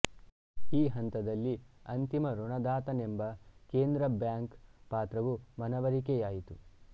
ಈ ಹಂತದಲ್ಲಿ ಅಂತಿಮ ಋಣದಾತನೆಂಬ ಕೇಂದ್ರ ಬ್ಯಾಂಕ್ ಪಾತ್ರವು ಮನವರಿಕೆಯಾಯಿತು